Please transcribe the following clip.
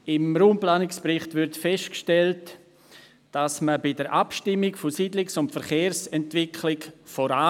Im Raumplanungsbericht wird festgehalten, man komme bei der Abstimmung der Siedlungs- und Verkehrsentwicklung voran.